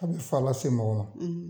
A bi fa lase ma wa